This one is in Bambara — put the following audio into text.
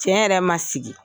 yɛrɛ man sigi.